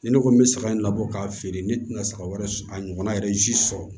Ni ne ko n bɛ saga in labɔ k'a feere ne tɛna saga wɛrɛ sɔrɔ a ɲɔgɔnna yɛrɛ sɔrɔ